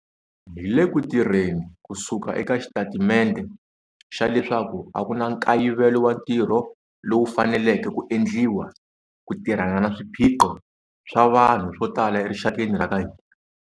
Hi le ku tirheni kusuka eka xitatimente xa leswaku a ku na nkayivelo wa ntirho lowu faneleke ku endliwa ku tirhana na swiphiqo swa vanhu swo tala erixakeni ra ka hina.